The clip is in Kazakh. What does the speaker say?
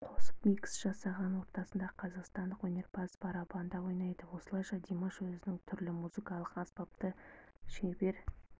қосып микс жасаған ортасында қазақстандық өнерпаз барабанда ойнайды осылайша димаш өзінің түрлі музыкалық аспапты шебер